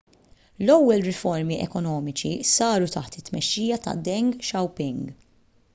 l-ewwel riformi ekonomiċi saru taħt it-tmexxija ta' deng xiaoping